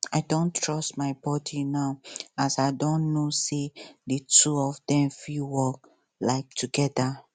i don trust my body now as i don know say di two of dem fit work um togeda